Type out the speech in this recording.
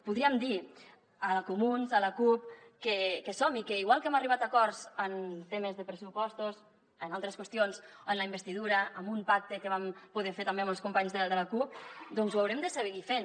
podríem dir a comuns a la cup que som hi que igual que hem arribat a acords en temes de pressupostos en altres qüestions o en la investidura amb un pacte que vam poder fer també amb els companys de la cup doncs ho haurem de seguir fent